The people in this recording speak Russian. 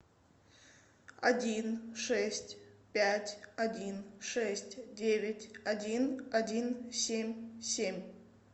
один шесть пять один шесть девять один один семь семь